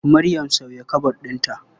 Maryam sauya kabod ɗinta.